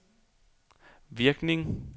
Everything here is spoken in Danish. virkning